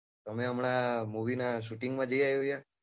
તમે હમણાં movieshooting નાં shooting જઈ આવ્યા યાર